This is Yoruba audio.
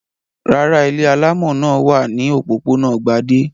Rárá, ilé alámọ̀ náà wà ní òpópónà Gbadé.